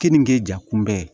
Keninge jankunbɛ